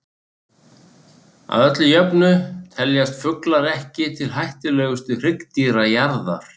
Að öllu jöfnu teljast fuglar ekki til hættulegustu hryggdýra jarðar.